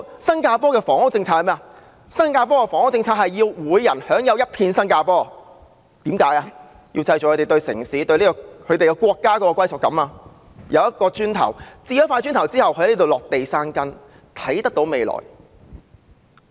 新加坡的房屋政策是要人人都擁有一片新加坡，務求令市民對城市、對國家產生歸屬感，讓他們置一塊"磚頭"，在當地落地生根，看得見未來。